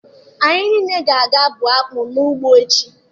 Anyị niile ga-aga bụọ akpụ n'ugbo echi.